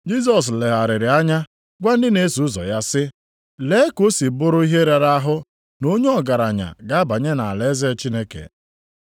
Jisọs legharịrị anya gwa ndị na-eso ụzọ ya sị, “Lee ka o si bụrụ ihe rara ahụ na onye ọgaranya ga-abanye nʼalaeze Chineke.”